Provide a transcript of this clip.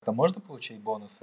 там можно получить бонусы